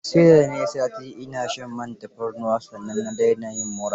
Sai da na yi sati ina shan man tafarnuwa, sannan na dena yin mura.